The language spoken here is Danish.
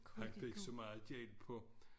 Han fik så meget gæld på